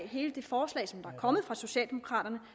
hele det forslag som er kommet fra socialdemokraterne